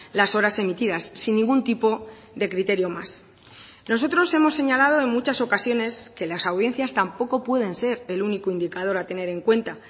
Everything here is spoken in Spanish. las horas emitidas sin ningún tipo de criterio más nosotros hemos señalado en muchas ocasiones que las audiencias tampoco pueden ser el único indicador a tener en cuenta